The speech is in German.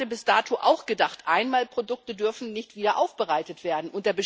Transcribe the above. Ich hatte bis dato auch gedacht, Einmalprodukte dürfen nicht wiederaufbereitet werden.